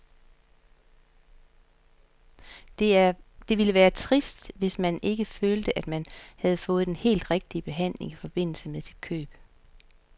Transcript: Det ville være trist, hvis man ikke følte, at man havde fået den helt rigtige behandling i forbindelse med sit køb.